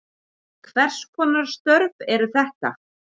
Hvers konar störf eru þetta?